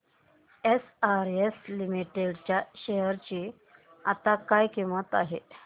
SRS limited च्या share ची आता काय किंमत आहे